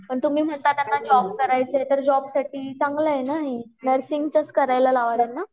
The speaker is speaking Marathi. तर तुम्ही म्हणतात त्यांना जॉब करायचा आहे तर त्यांच्या साठी चांगल आहे न हे नर्सिंग चच करायला लावा त्यांना